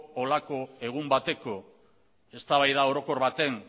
holako egun bateko eztabaida orokor baten